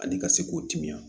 Ani ka se k'u timiya